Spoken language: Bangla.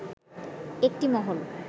একটি মহল